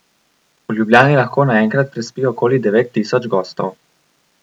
V Ljubljani lahko naenkrat prespi okoli devet tisoč gostov.